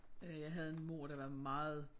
Øh jeg havde en mor der var meget